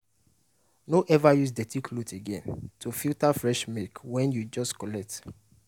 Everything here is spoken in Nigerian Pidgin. no ever use dirty cloth again to filter fresh milk wey you just collect.